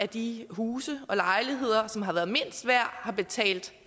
de huse og lejligheder som har været mindst værd har betalt